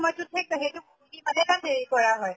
সময়্তোত হে সেইটো খুলি পালে তাত হেৰি কৰা হয়